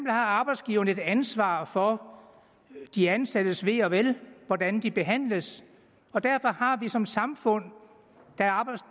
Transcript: har arbejdsgiveren et ansvar for de ansattes ve og vel hvordan de behandles og derfor har vi som samfund